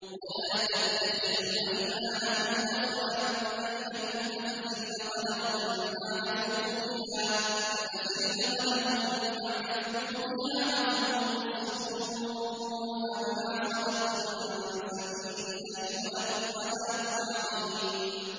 وَلَا تَتَّخِذُوا أَيْمَانَكُمْ دَخَلًا بَيْنَكُمْ فَتَزِلَّ قَدَمٌ بَعْدَ ثُبُوتِهَا وَتَذُوقُوا السُّوءَ بِمَا صَدَدتُّمْ عَن سَبِيلِ اللَّهِ ۖ وَلَكُمْ عَذَابٌ عَظِيمٌ